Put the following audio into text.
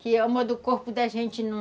Que o corpo da gente não...